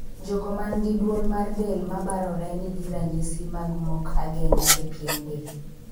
Jogo man gi duol mar del ma barore nigi ranyisi mag mok ageng'a e pien del.